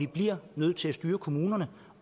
bliver nødt til at styre kommunerne